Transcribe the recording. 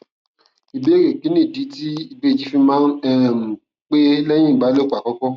ìbéèrè kí nìdí tí ìbejì fi máa um ń pé léyìn ìbálòpò àkókó